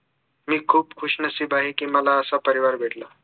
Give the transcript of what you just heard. मी खूप खुशनसीब आहे कि मला असा परिवार भेटला